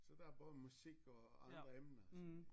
Så der er både musik og andre emner og sådan